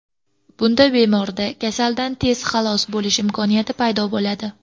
Bunda bemorda kasallikdan tezda xalos bo‘lish imkoniyati paydo bo‘ladi.